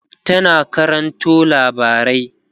tana karanto labarai